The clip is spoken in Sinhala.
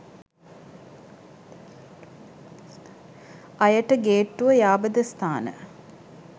අයට ගේට්ටුව යාබද ස්ථාන